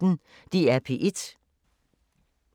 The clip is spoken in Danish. DR P1